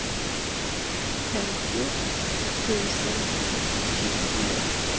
femtio tusen tjugofyra